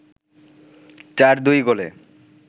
৪-২ গোলে